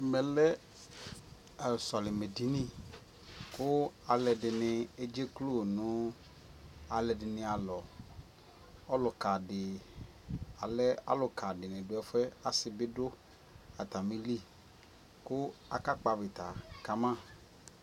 Ɛmɛ lɛ sɔlimɛ edini kʋ alʋɔdini edzeklo nʋ alʋɔdini alɔ Ɔlʋka dι alɛ alʋka dι nι dʋ ɛfuɛ Asi bι du atami lι kʋ akakpɔ avita kama